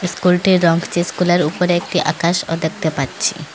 School -টির রং যে স্কুল -এর উপরে একটি আকাশও দেখতে পাচ্ছি।